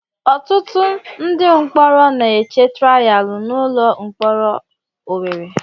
Ọtụtụ ndị mkpọrọ na-eche trayaalụ n'ụlọ mkpọrọ Owerre.